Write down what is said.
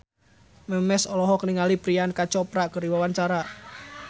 Memes olohok ningali Priyanka Chopra keur diwawancara